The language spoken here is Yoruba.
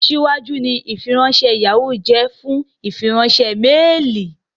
Aṣíwájú ni ìfiránṣẹ́ Yahoo ń jẹ́ fún ìfiránṣẹ́ méèlì